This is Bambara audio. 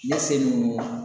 Ne se nun